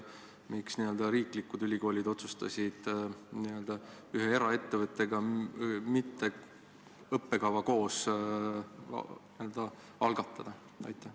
Miks riiklikud ülikoolid otsustasid ühe eraettevõttega õppekava koos mitte käivitada?